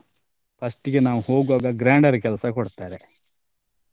First ಗೆ ನಾವ್ ಹೋಗ್ವಾಗ ಕೆಲಸ ಕೊಡ್ತಾರೆ.